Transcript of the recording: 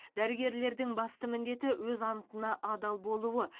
дәрігерлердің басты міндеті өз антына адал болуы